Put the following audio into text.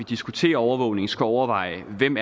diskuterer overvågning skal overveje hvem